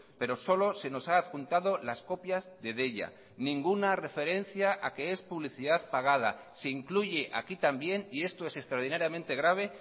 pero solo se nos ha adjuntado las copias de deia ninguna referencia a que es publicidad pagada se incluye aquí también y esto es extraordinariamente grave